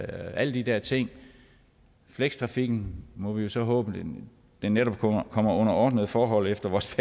alle de der ting og flekstrafikken må vi jo så håbe netop kommer kommer under ordnede forhold efter vores